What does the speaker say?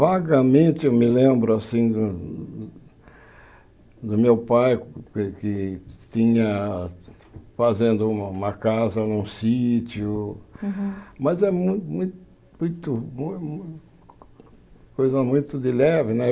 Vagamente eu me lembro assim do do meu pai que tinha fazendo uma uma casa num sítio, Aham mas é mu muito, muito, coisa muito de leve, né?